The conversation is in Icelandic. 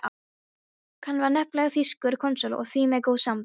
Hann var nefnilega þýskur konsúll og því með góð sambönd.